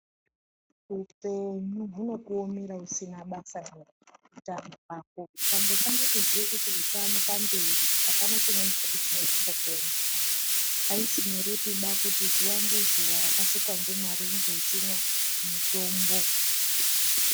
Hupenyu hunokuomera usina basa neutano hwako ukangotanga kuziye kuti utano pamberi apana chimweni futi chinozombokuomera aisi nyoreba kuziya kuti zuva ngezuva rakasikwa ndimwari unge uchimwa mutombo.